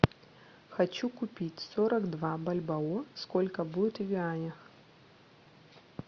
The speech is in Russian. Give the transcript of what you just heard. хочу купить сорок два бальбоа сколько будет в юанях